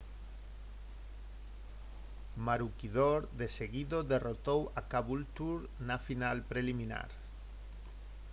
maroochydore de seguido derrotou a caboolture na final preliminar